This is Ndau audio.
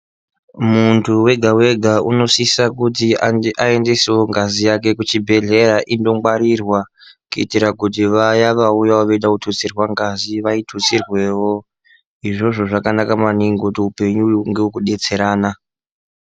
Muntu wega wega unosisa kuti aendesewo ngazi yake kuchibhdlera ino ngarwirwa kuitira kuti vaya vanoda kutu tsirwangazi vayi tutsirwewo. Izvezvo zvakanaka maningi kuti hupenyu hunge hweku detserana.